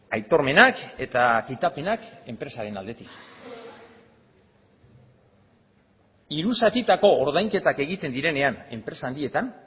aitormenak eta kitapenak enpresaren aldetik hiru zatitako ordainketak egiten direnean enpresa handietan